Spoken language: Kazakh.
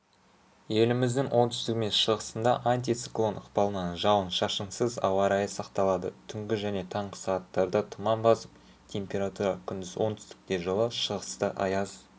еліміздің оңтүстігі мен шығысында антициклон ықпалынан жауын-шашынсыз ауа-райы сақталады түнгі және таңғы сағаттарда тұман басып температура күндіз оңтүстікте жылы шығыста аяз